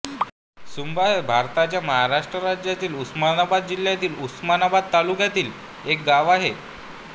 सुंभा हे भारताच्या महाराष्ट्र राज्यातील उस्मानाबाद जिल्ह्यातील उस्मानाबाद तालुक्यातील एक गाव आहे